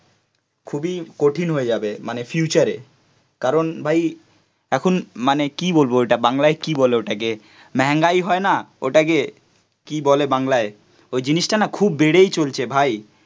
খুবই কঠিন হয়ে যাবে মানে ফিউচারে কারণ ভাই এখন মানে কি বলব ওটা বাংলায় কি বলে ওটাকে মেহেঙ্গাই হয় না ওটাকে কি বলে বাংলায়? ওই জিনিসটা না খুব বেড়েই চলছে ভাই